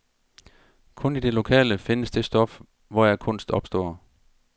Kun i det lokale findes det stof, hvoraf kunst opstår.